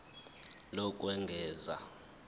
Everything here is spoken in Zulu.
lokwengeza fal iphepha